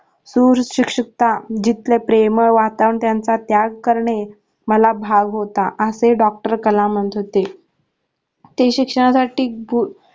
क्रूर शिक्षितता जिथलं प्रेमळ वातावाराण त्यांचा त्याग करणे मला भाग होता असे doctor कलाम म्हणत होते ते शिक्षणासाठी